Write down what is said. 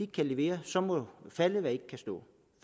kan levere så må falde hvad ikke kan stå